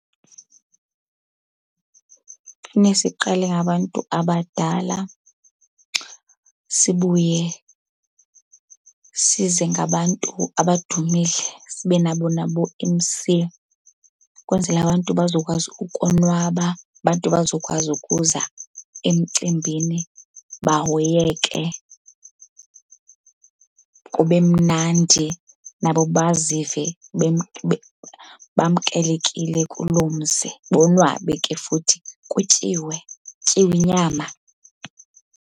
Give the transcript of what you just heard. Fune siqale ngabantu abadala sibuye size ngabantu abadumile, sibe nabo naboo-M_C. Ukwenzela abantu bazokwazi ukonwaba, abantu bazokwazi ukuza emcimbini bahoyeke kube mnandi, nabo bazive bamkelekile kuloo mzi bonwabe ke futhi. Kutyiwe, kutyiwe inyama.